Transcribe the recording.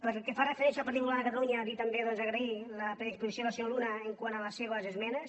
pel que fa referència al partit popular de catalunya dir també doncs agrair la predisposició del senyor luna quant a les seves esmenes